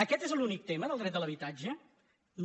aquest és l’únic tema del dret a l’habitatge no